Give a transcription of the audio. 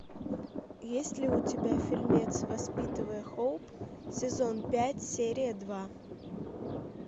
есть ли у тебя фильмец воспитывая хоуп сезон пять серия два